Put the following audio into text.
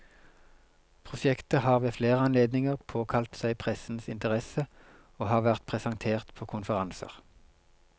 Prosjektet har ved flere anledninger påkalt seg pressens interesse og har vært presentert på konferanser.